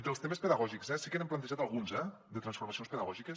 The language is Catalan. dels temes pedagògics sí que n’hem plantejat algunes eh de transformacions pedagògiques